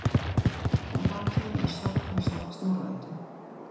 Að baki er sögn í Snorra-Eddu